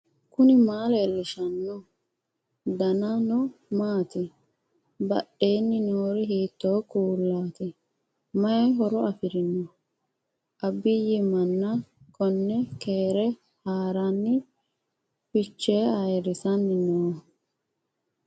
knuni maa leellishanno ? danano maati ? badheenni noori hiitto kuulaati ? mayi horo afirino ? abiyi manna konne keere haaranni fichee ayrisanni nooika